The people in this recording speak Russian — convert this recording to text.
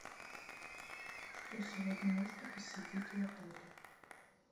что сегодня можно посетить в отеле